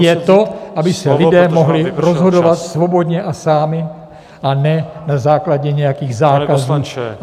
... je to, aby se lidé mohli rozhodovat svobodně a sami, a ne na základě nějakých zákazů...